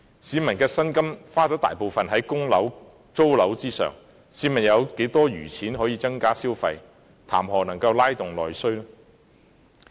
市民的薪金大部分用於供樓及租樓，試問有多少餘錢可增加消費，談何"拉動內需"？